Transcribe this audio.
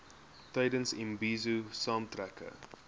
tydens imbizo saamtrekke